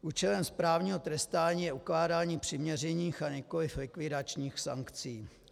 Účelem správního trestání je ukládání přiměřených, a nikoliv likvidačních sankcí.